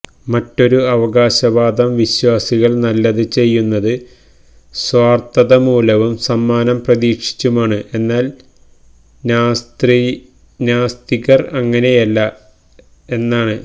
മറ്റൊരു അവകാശവാദം വിശ്വാസികള് നല്ലത് ചെയ്യുന്നത് സ്വാര്ഥതതമൂലവും സമ്മാനം പ്രതീക്ഷിച്ചുമാണ് എന്നാല് നാസ്തികര് അങ്ങിനെയല്ല എന്നാണ്